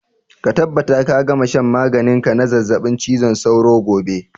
Ka tabbata ka gama shan maganin ka na zazzabin cizon sauro gobe!